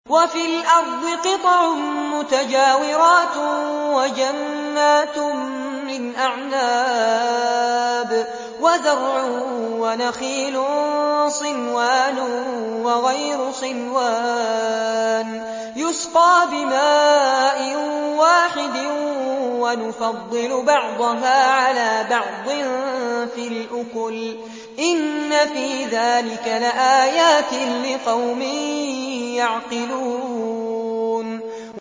وَفِي الْأَرْضِ قِطَعٌ مُّتَجَاوِرَاتٌ وَجَنَّاتٌ مِّنْ أَعْنَابٍ وَزَرْعٌ وَنَخِيلٌ صِنْوَانٌ وَغَيْرُ صِنْوَانٍ يُسْقَىٰ بِمَاءٍ وَاحِدٍ وَنُفَضِّلُ بَعْضَهَا عَلَىٰ بَعْضٍ فِي الْأُكُلِ ۚ إِنَّ فِي ذَٰلِكَ لَآيَاتٍ لِّقَوْمٍ يَعْقِلُونَ